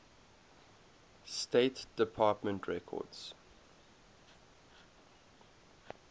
state department records